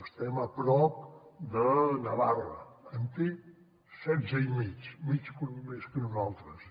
estem a prop de navarra en té setze i mig mig punt més que nosaltres